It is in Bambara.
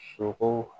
Sogo